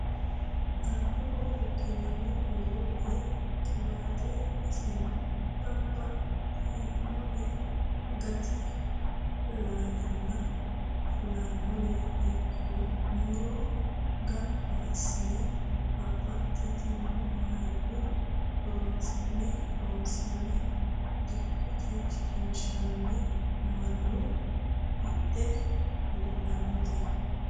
Albaho riqinanni buuro woyi qiwate iseno babbaxxinore gati lalena fulanore ikko muro gamba assine babbaxxitino hayyo horonsi'ne loonse dikkote shiqqinshenna mannu hidhe budhanote.